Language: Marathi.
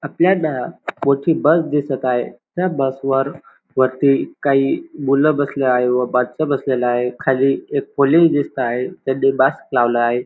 आपल्याला मोठी बस दिसत आहे त्या बस वर वरती काही मूल बसले आहे व मानस बसलेले आहे खाली एक पोलीस दिसता आहे त्यांनी मास्क लावला आहे.